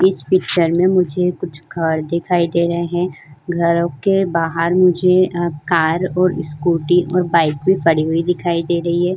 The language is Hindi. इस पिक्चर में मुझे कुछ घर दिखाई दे रहे हैं। घरो के बाहर मुझे अ कार और स्कूटी और बाइक भी पड़ी हुई दिखाई दे रही है।